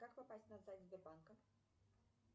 как попасть на сайт сбербанка